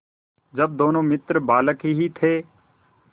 जब दोनों मित्र बालक ही थे